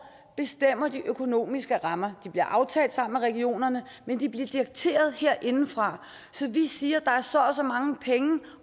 bestemmer de økonomiske rammer de bliver aftalt sammen med regionerne men de bliver dikteret herindefra så vi siger at der er så og så mange penge